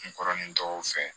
N kɔrɔ ni dɔw fɛ